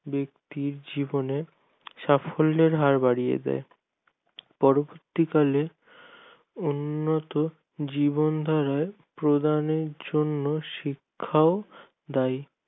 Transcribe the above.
ব্যক্তির জীবনে সাফল্যর হার বাড়িয়ে দেয় পরবর্তী কালে উন্নত জীবনদানের প্রদানের জন্য শিক্ষাও দায়ী